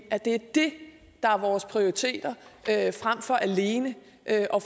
er det det der er vores prioriteter frem for alene at